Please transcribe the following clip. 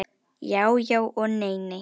Já já og nei nei.